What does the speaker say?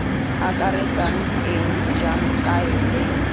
akaretsang eng jang kae leng